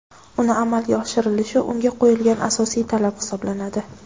uning amalga oshirilishi unga qo‘yilgan asosiy talab hisoblanadi:.